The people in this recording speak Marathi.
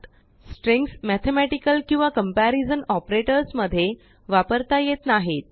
स्ट्रींग्समेथेमेटिकल किंवाकम्पेरीजनऑपरेटर्स मध्ये वापरतायेत नाहित